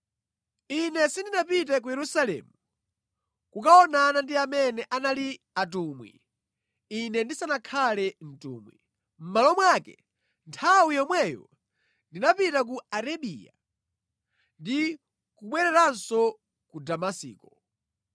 Ine sindinapite ku Yerusalemu kukaonana ndi amene anali atumwi ine ndisanakhale mtumwi. Mʼmalo mwake nthawi yomweyo ndinapita ku Arabiya ndi kubwereranso ku Damasiko.